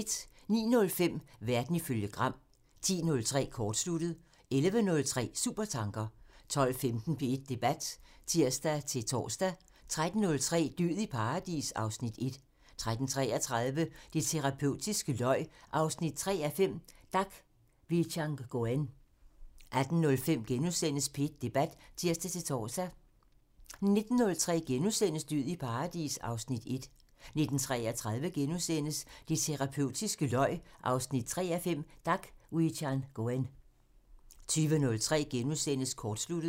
09:05: Verden ifølge Gram (tir) 10:03: Kortsluttet (tir) 11:03: Supertanker (tir) 12:15: P1 Debat (tir-tor) 13:03: Død i paradis (Afs. 1) 13:33: Det terapeutiske løg 3:5 – Dak Wichangoen 18:05: P1 Debat *(tir-tor) 19:03: Død i paradis (Afs. 1)* 19:33: Det terapeutiske løg 3:5 – Dak Wichangoen * 20:03: Kortsluttet *(tir)